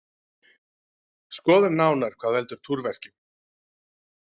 Skoðum nánar hvað veldur túrverkjum.